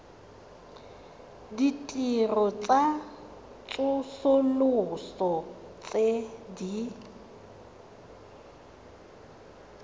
ditirelo tsa tsosoloso tse di